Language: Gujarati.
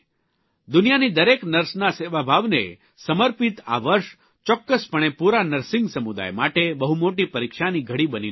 દુનિયાની દરેક નર્સના સેવાભાવને સમર્પિત આ વર્ષ ચોક્કસપણે પુરા નર્સિંગ સમુદાય માટે બહુ મોટી પરીક્ષાની ઘડી બનીને આવ્યું છે